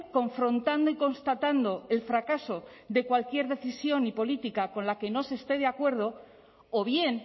confrontando y constatando el fracaso de cualquier decisión y política con la que no se esté de acuerdo o bien